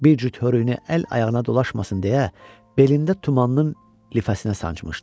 Bir cüt hörüyünü əl-ayağına dolaşmasın deyə, belində tumanın lifəsinə sancmışdı.